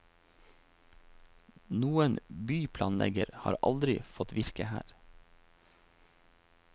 Noen byplanlegger har aldri fått virke her.